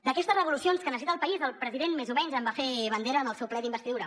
d’aquestes revolucions que necessita el país el president més o menys en va fer bandera en el seu ple d’investidura